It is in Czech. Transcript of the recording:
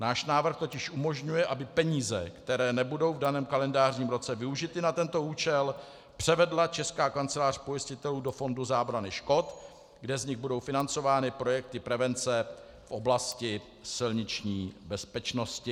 Náš návrh totiž umožňuje, aby peníze, které nebudou v daném kalendářním roce využity na tento účel, převedla Česká kancelář pojistitelů do fondu zábrany škod, kde z nich budou financovány projekty prevence v oblasti silniční bezpečnosti.